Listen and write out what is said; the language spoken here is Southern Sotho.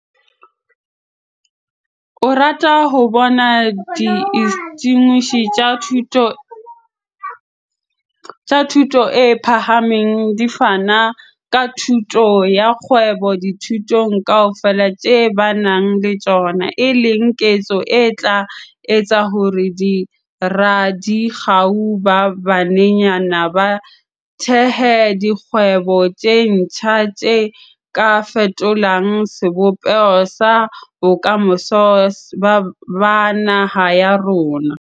O rata ho bona diinstitjushene tsa thuto e phahameng di fana ka thuto ya kgwebo dithutong kaofela tse ba nang le tsona, e leng ketso e tla etsa hore boradikgau ba banyenyane ba thehe dikgwebo tse ntjha tse ka fetolang sebopeho sa bokamoso ba naha ya rona.